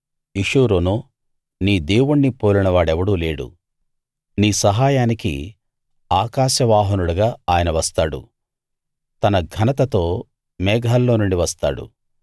యెషూరూనూ నీ దేవుణ్ణి పోలిన వాడెవడూ లేడు నీ సహాయానికి ఆకాశ వాహనుడుగా ఆయన వస్తాడు తన ఘనతతో మేఘాల్లో నుండి వస్తాడు